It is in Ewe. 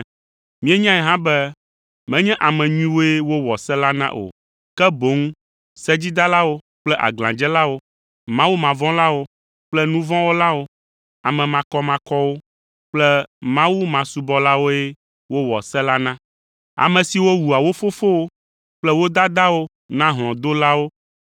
Míenyae hã be menye ame nyuiwoe wowɔ se la na o, ke boŋ sedzidalawo kple aglãdzelawo, mawumavɔ̃lawo kple nu vɔ̃ wɔlawo, ame makɔmakɔwo kple mawumasubɔlawoe wowɔ se la na, ame siwo wua wo fofowo kple wo dadawo na hlɔ̃dolawo